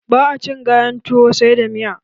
Ba a cin gayan tuwo sai da miya.